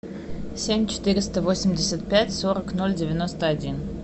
семь четыреста восемьдесят пять сорок ноль девяносто один